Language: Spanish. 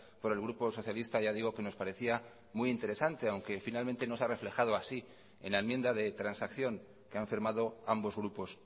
por el grupo socialista ya digo que nos parecía muy interesante aunque finalmente no se ha reflejado así en la enmienda de transacción que han firmado ambos grupos